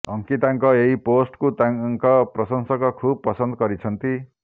ଅଙ୍କିତାଙ୍କ ଏହି ପୋଷ୍ଟକୁ ତାଙ୍କ ପ୍ରଶଂସକ ଖୁବ୍ ପସନ୍ଦ କରୁଛନ୍ତି